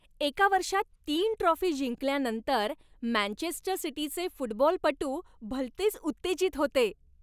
एका वर्षात तीन ट्रॉफी जिंकल्यानंतर मँचेस्टर सिटीचे फुटबॉलपटू भलतेच उत्तेजित होते.